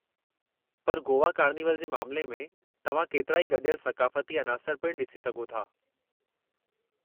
पर गोवा कार्निवल जे मामले में, तव्हां केतिराई गॾियल सक़ाफ़ती अनासर पिणु ॾिसी सघो था।